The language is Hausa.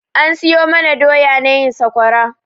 An siyo mana doya na yin sakwara.